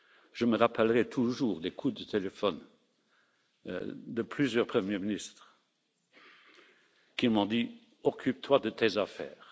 Je me rappellerai toujours les coups de téléphone de plusieurs premiers ministres qui m'ont dit Occupe toi de tes affaires.